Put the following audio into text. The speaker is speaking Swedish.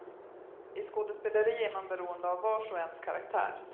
I skådespeleri är man beroende av vars och ens karaktär.